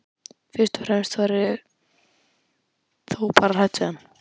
Fyrst og fremst var ég þó bara hrædd við hann.